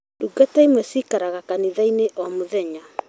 Ndungata imwe ciikaraga kanitha-inĩ o mũthenya